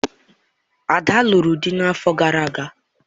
Ada lụrụ di n'afọ gara aga.